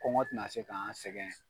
Kɔngɔ tina se k'an sɛgɛn